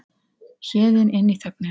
Héðinn inn í þögnina.